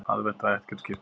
Aðventa í Hallgrímskirkju